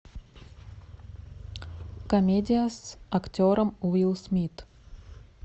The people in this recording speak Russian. комедия с актером уилл смит